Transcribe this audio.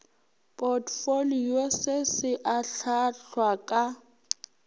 potfolio se se ahlaahlwa ka